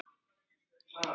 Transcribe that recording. Ásgeir og Díana.